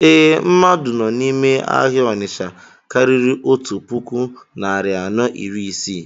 Ee, mmadụ nọ n'ime ahịa Onitsha karịrị otu puku narị anọ iri Isii